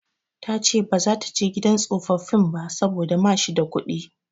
Ta ce ba za ta je gidan tsofaffin ba saboda ma shi da kuɗi.